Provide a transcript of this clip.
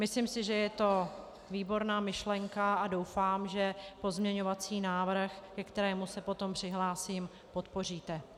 Myslím si, že je to výborná myšlenka, a doufám, že pozměňovací návrh, ke kterému se potom přihlásím, podpoříte.